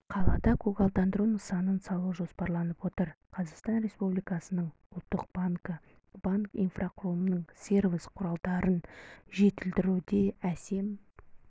қалада көгалдандыру нысанын салу жоспарланып отыр қазақстан республикасының ұлттық банкі банк инфрақұлымының сервис құралдарын жетілдіруде әсем